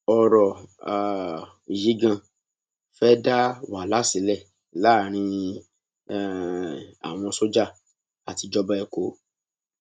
ọrọ um yìí ganan fẹẹ dá wàhálà sílẹ láàrin um àwọn sójà àti ìjọba èkó